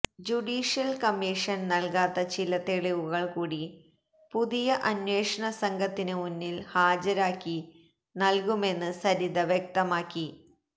judicial കമ്മീഷന് നൽകാത്ത ചില തെളിവുകൾ കൂടി പുതിയ അന്വേഷണ സംഘത്തിന് മുന്നിൽ ഹാജരായി നൽകുമെന്ന് സരിത വ്യക്തമാക്കി